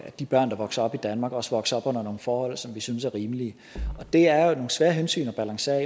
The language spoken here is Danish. at de børn der vokser op i danmark også vokser op under nogle forhold som vi synes er rimelige det er jo nogle svære hensyn at balancere